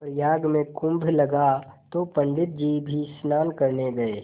प्रयाग में कुम्भ लगा तो पंडित जी भी स्नान करने गये